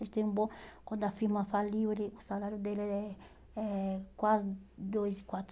Ele tem um bom, quando a firma faliu, ele o salário dele é é quase dois e